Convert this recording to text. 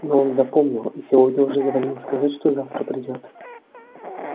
но он запомнил и сегодня уже звонил сказать что завтра придёт